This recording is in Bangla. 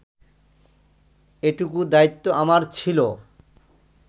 এটুকু দায়িত্ব আমার ছিল